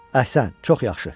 Əhsən, çox yaxşı!